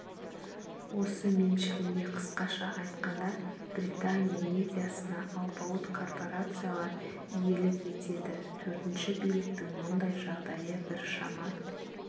осы меншігінде қысқаша айтқанда британия медиасына алпауыт корпорациялар иелік етеді төртінші биліктің мұндай жағдайы біршама